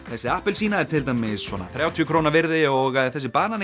þessi appelsína er til dæmis svona þrítugasta krónu virði og þessi